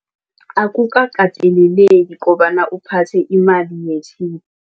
Akukakateleleki kobana uphathe imali